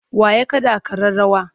Wa ya kaɗa ƙararrawa?